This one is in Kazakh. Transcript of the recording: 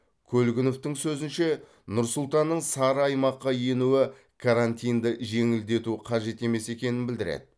көлгіновтің сөзінше нұр сұлтанның сары аймаққа енуі карантинді жеңілдету қажет емес екенін білдіреді